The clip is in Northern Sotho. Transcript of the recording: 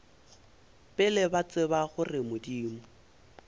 pele ba tseba gore modimo